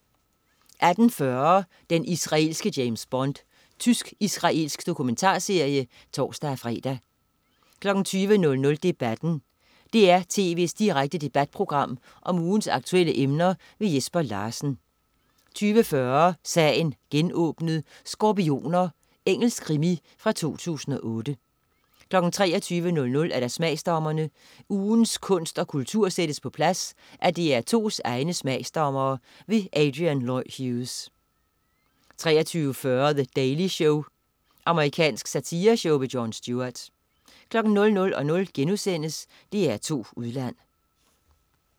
18.40 Den israelske James Bond. Tysk-israelsk dokumentarserie (tors-fre) 20.00 Debatten. DR tv's direkte debatprogram om ugens aktuelle emner. Jesper Larsen 20.40 Sagen genåbnet: Skorpioner. Engelsk krimi fra 2008 23.00 Smagsdommerne. Ugens kunst og kultur sættes på plads af DR2's egne smagsdommere. Adrian Lloyd Hughes 23.40 The Daily Show. Amerikansk satireshow. Jon Stewart 00.00 DR2 Udland*